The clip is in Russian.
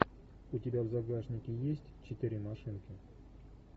у тебя в загашнике есть четыре машинки